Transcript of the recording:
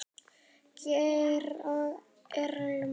Geir og Irma.